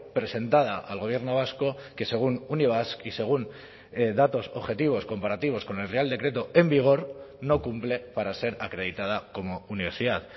presentada al gobierno vasco que según unibasq y según datos objetivos comparativos con el real decreto en vigor no cumple para ser acreditada como universidad